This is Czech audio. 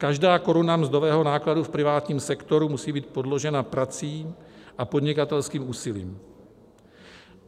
Každá koruna mzdového nákladu v privátním sektoru musí být podložena prací a podnikatelským úsilím.